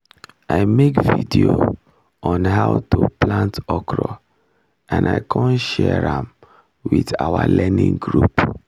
i make video on how to plant okro and i con share am with our learning group